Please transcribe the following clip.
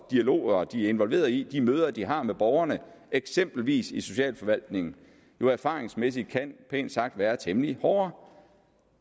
dialoger de er involveret i og de møder de har med borgerne eksempelvis i socialforvaltningen jo erfaringsmæssigt pænt sagt kan være temmelig hårde